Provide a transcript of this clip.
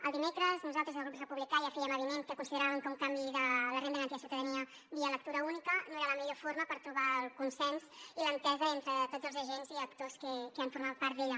el dimecres nosaltres des del grup republicà ja fèiem avinent que consideràvem que un canvi de la renda garantida de ciutadania via lectura única no era la millor forma per trobar el consens i l’entesa entre tots els agents i actors que han format part d’ella